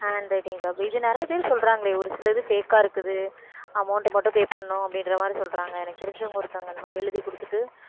handwriting job இது நிறைய பேர் சொல்றாங்களே ஒரு சிலது fake ஆ இருக்குது amount மட்டும் pay பண்ணணும் அப்படின்ற மாதிரி சொல்றாங்க எனக்கு தெரிஞ்சவங்க ஒருத்தங்க இந்த மாதிரி எழுதிக் கொடுத்துட்டு